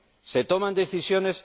¿Se toman decisiones?